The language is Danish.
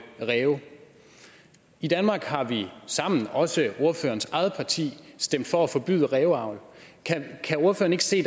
ræve i danmark har vi sammen også ordførerens eget parti stemt for at forbyde ræveavl kan ordføreren ikke se